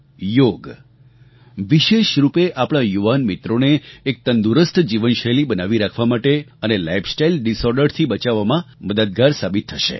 યોગ વિશેષ રૂપે આપણા યુવાન મિત્રોને એક તંદુરસ્ત જીવનશૈલી બનાવી રાખવા માટે અને લાઇફસ્ટાઇલ ડિસઑર્ડરથી બચાવવામાં મદદગાર સાબિત થશે